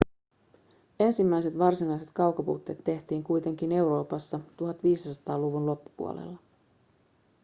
ensimmäiset varsinaiset kaukoputket tehtiin kuitenkin euroopassa 1500-luvun loppupuolella